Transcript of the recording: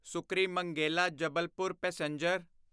Sukrimangela Jabalpur passenger